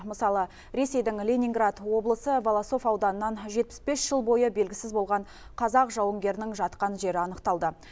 мысалы ресейдің ленинград облысы волосов ауданынан жетпіс бес жыл бойы белгісіз болған қазақ жауынгерінің жатқан жері анықталды